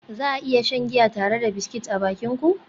Za a iya shan giya tare da biscuit a bakin ku?